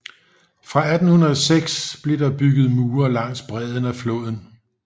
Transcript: Fra 1806 blev der bygget mure langs bredden af floden